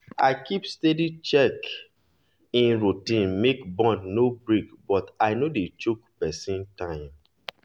i keep steady check-in routine make bond no break but i no dey choke person time.